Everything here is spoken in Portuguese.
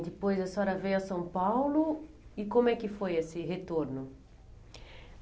E depois a senhora veio a São Paulo e como é que foi esse retorno?